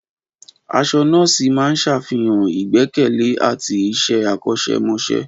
Aṣọ nọ́ọ̀sì máa ń ṣàfihàn ìgbẹ́kẹ̀lé àti iṣẹ́ akọ́ṣẹ́mọṣẹ́.